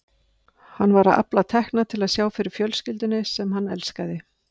Hann var að afla tekna til að sjá fyrir fjölskyldunni sem hann elskaði.